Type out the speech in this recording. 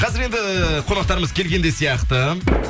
қазір енді қонақтарымыз келген де сияқты